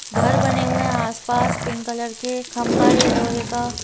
घर बने हुए है आस पास पिंक कलर के खंबा है लोहै का।